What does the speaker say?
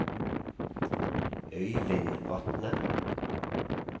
Øivind Vatne